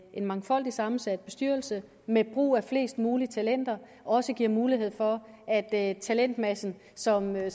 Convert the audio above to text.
en mangfoldig sammensat bestyrelse med brug af flest mulige talenter også giver mulighed for er at talentmassen som er